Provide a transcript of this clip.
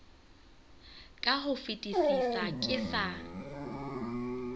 ka ho fetisisa ke sa